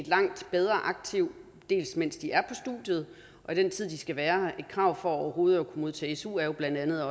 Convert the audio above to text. langt bedre aktiv mens de er på studiet og i den tid de skal være et krav for overhovedet at kunne modtage su er jo bla at